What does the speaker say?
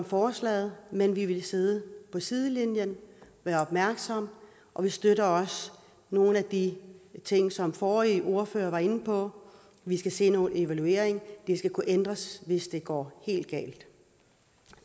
forslaget men vi vil sidde på sidelinjen og være opmærksomme og vi støtter også nogle af de ting som den forrige ordfører var inde på vi skal se en evaluering det skal kunne ændres hvis det går helt galt